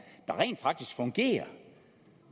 der rent faktisk fungerer